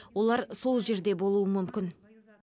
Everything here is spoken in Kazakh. олар сол жерде болуы мүмкін